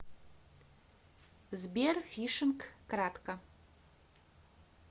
сбер фишинг кратко